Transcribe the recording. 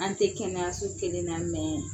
An tɛ kɛnɛyaso kelenna;